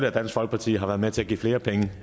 at dansk folkeparti har været med til at give flere penge